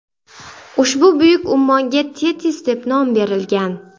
Ushbu buyuk ummonga Tetis deb nom berilgan.